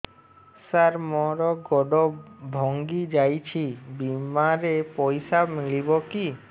ସାର ମର ଗୋଡ ଭଙ୍ଗି ଯାଇ ଛି ବିମାରେ ପଇସା ମିଳିବ କି